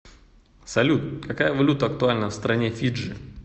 салют какая валюта актуальна в стране фиджи